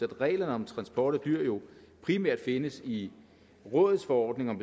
reglerne om transport af dyr jo primært findes i rådsforordningen